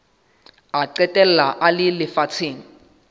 a qetella a le lefatsheng